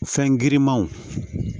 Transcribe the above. Fɛn girinmanw